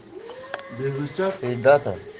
эльдар